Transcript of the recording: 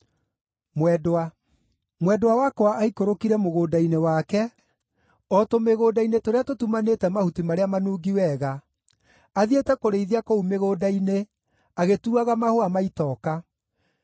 Mwendwa wakwa aikũrũkire mũgũnda-inĩ wake, o tũmĩgũnda-inĩ tũrĩa tũtumanĩte mahuti marĩa manungi wega, athiĩte kũrĩithia kũu mĩgũnda-inĩ, agĩtuaga mahũa ma itoka.